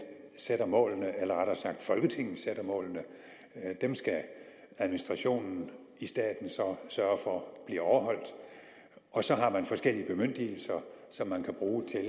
sætter målene eller rettere sagt folketinget sætter målene dem skal administrationen i staten så sørge for bliver overholdt så har man forskellige bemyndigelser som man kan bruge til at